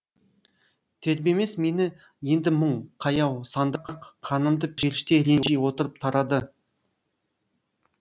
тербемес мені енді мұң қаяу сандырақ қанымды періште ренжи отырып тарады